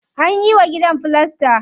Anyi wa gidan filasta.